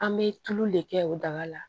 An bɛ tulu le kɛ o daga la